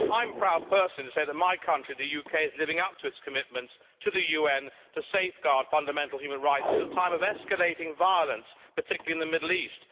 I am proud, personally, to say that my country, the UK, is living up to its commitments to the UN to safeguard fundamental human rights at a time of escalating violence, particularly in the Middle East.